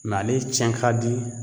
ale tiɲɛ ka di